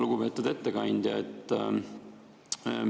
Lugupeetud ettekandja!